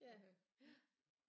Ja ja